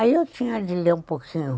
Aí eu tinha de ler um pouquinho.